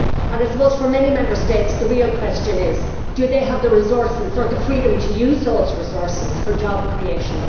I suppose for many Member States the real question is do they have the resources or the freedom to use those resources for job creation?